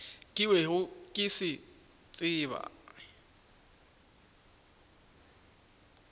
ke bego ke se tseba